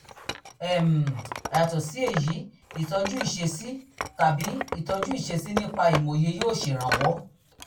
um yàtọ̀ sí èyí ìtọ́jú ìṣesí tàbí ìtọ́jú ìṣesí nípa ìmòye yóò ṣèrànwọ́